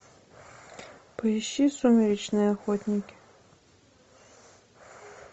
поищи сумеречные охотники